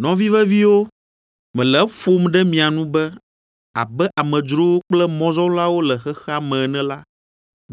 Nɔvi veviwo, mele eƒom ɖe mia nu be abe amedzrowo kple mɔzɔlawo le xexea me ene la,